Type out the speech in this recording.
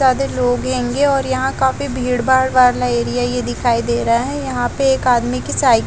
ज्यादा लोग होंगे और यहाँ काफी भीड़-भाड वाला एरिया है ये दखाई दे रहा है यहाँ पे एक आदमी की --